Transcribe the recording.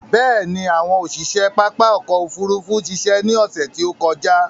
Bẹ̀ẹ̀ni, àwọn òṣiṣe pápá ọkò òfurufú ṣiṣẹ́ ní ọsẹ̀ tí ó kọjá.